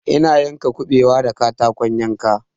Ina yanka kuɓewa da katakon yanka